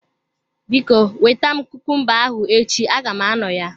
Biko, weta kumumba ahụ echi aga m anọ ya.